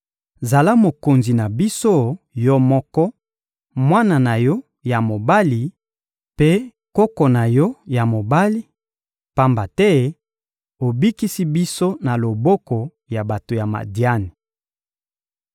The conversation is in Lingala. — Zala mokonzi na biso, yo moko, mwana na yo ya mobali mpe koko na yo ya mobali, pamba te obikisi biso na loboko ya bato ya Madiani.